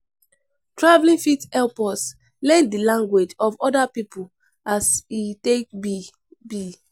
Traveling fit help us learn the language of other pipo as e take be be